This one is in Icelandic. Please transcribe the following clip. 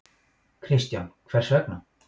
Kristján: Hvers vegna?